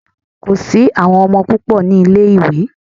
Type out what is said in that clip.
Kò sí àwọn ọmọ púpò ní ilé ìwé.